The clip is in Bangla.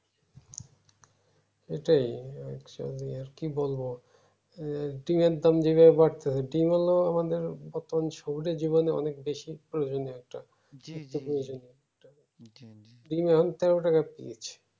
এটাই আচ্ছা আর কি বলবো ডিম্ এর দাম যে ভাবে বাড়তেছে ডিম্ হলো আমাদের প্রথম শরীরের জীবনে অনেক বেশি প্রয়োজনীয় একটা ডিম্ এখন তেরো টাকা পিস্